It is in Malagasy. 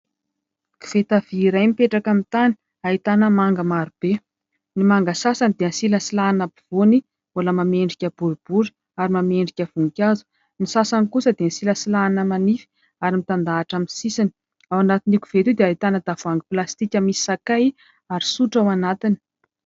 Koveta vy iray mipetraka amin'ny tany ahitana manga marobe, ny manga sasany dia nosilasilahana ampovoany mbola manome endrika boribory ary manome endrika voninkazo, ny sasany kosa dia nosilasilahana manify ary mitandahatra amin'ny sisiny, ao anatin'io koveta io dia hahitana tavohangy plastika misy sakay ary sotro ao anatiny.